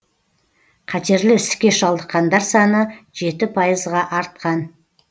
қатерлі ісікке шалдыққандар саны жеті пайызға артқан